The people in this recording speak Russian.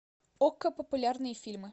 окко популярные фильмы